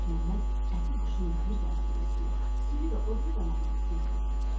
Məlik Məmməd əti quşunun bir qanadının üstünə, suyu da o biri qanadının üstünə qoydu.